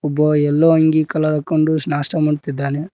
ಬಾಯ್ ಎಲ್ಲೋ ಅಂಗಿ ಕಲರ್ ಹಾಕೊಂಡು ನಾಷ್ಟ ಮಾಡ್ತಾ ಇದ್ದಾನೆ.